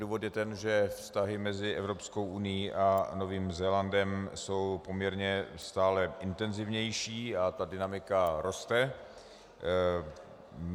Důvod je ten, že vztahy mezi Evropskou unií a Novým Zélandem jsou poměrně stále intenzivnější a ta dynamika roste.